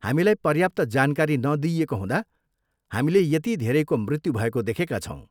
हामीलाई पर्याप्त जानकारी नदिइएको हुँदा हामीले यति धेरैको मृत्यु भएको देखेका छौँ।